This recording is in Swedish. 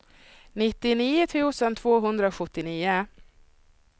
nittionio tusen tvåhundrasjuttionio